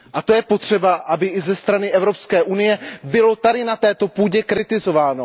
A to je potřeba, aby i ze strany Evropské unie bylo tady na této půdě kritizováno.